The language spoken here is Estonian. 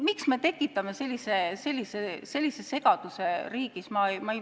Miks me tekitame sellise segaduse riigis?